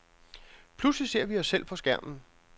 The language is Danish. Pludselig ser vi os selv på skærmen.